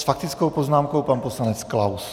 S faktickou poznámkou pan poslanec Klaus.